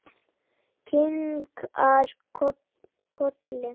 Kinkar kolli.